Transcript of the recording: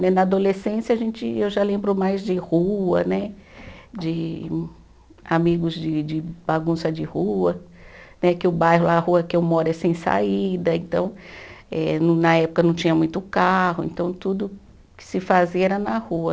Né na adolescência a gente, eu já lembro mais de rua né, de amigos de de bagunça de rua, né que o bairro, a rua que eu moro é sem saída, então eh no na época não tinha muito carro, então tudo que se fazia era na rua.